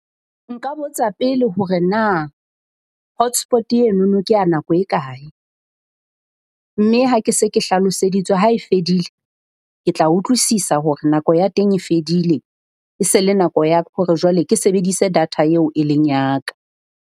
Nka botsa pele hore na hotspot enono kea nako e kae. Mme ha ke se ke hlaloseditswe, ha e fedile ke tla utlwisisa hore nako ya teng e fedile. E se le nako ya hore jwale ke sebedise data eo e leng ya ka.